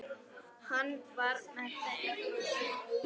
Hann er með þeim.